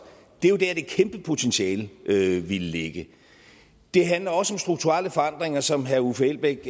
det er jo der at det kæmpe potentiale ville ligge det handler også strukturelle forandringer som herre uffe elbæk